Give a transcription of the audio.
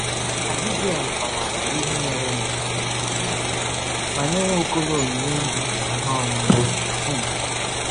Abigail kọwaara ya ihe merenụ ma nye Nwaokolo onyinye nri na ihe ihe ọṅụṅụ. um